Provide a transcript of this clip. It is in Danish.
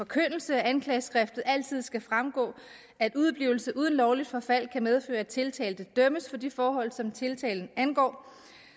forkyndelse af anklageskriftet altid skal fremgå at udeblivelse uden lovligt forfald kan medføre at tiltalte dømmes for de forhold som tiltalen angår